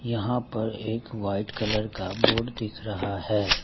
यहां पर एक वाइट कलर का बोर्ड दिख रहा है।